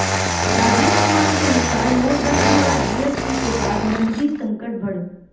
राजीव कुमार के अनुसार नोटबंदी और जीएसटी के बाद नकदी संकट बढ़